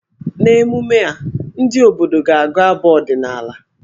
N'emume a, ndị obodo ga-agụ abụ ọdịnaala.